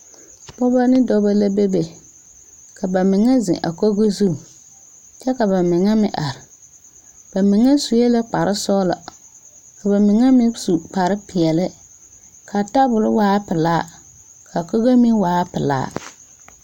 Pɔgeba ne dɔbɔ la bebe ka ba mine zeŋ a kogri zu kyɛ ka ba mine meŋ are ba mine sue kpare sɔglɔ ka ba mine meŋ su kpare peɛle ka a tabol waa pelaa ka a kogri meŋ waa pelaa.